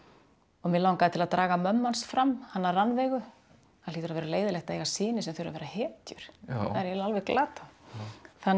og mig langaði til að draga mömmu hans fram hana Rannveigu það hlýtur að vera leiðinlegt að eiga syni sem þurfa að vera hetjur það er eiginlega alveg glatað þannig